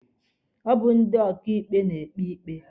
Ọ bụ ndị ọkaịkpe na-ekpe ikpe ikpe.